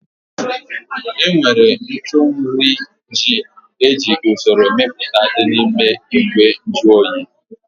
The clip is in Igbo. Enwere ntụ nri ji eji usoro mepụta dị n'ime ìgwè nju oyi